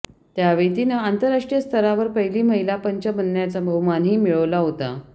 त्यावेळी तिनं आंतराष्ट्रीय स्तरावर पहिली महिला पंच बनण्याचा बहुमानही मिळवला होता